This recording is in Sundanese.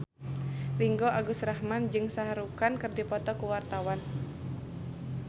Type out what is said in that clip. Ringgo Agus Rahman jeung Shah Rukh Khan keur dipoto ku wartawan